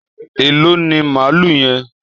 Èló ni malú yen?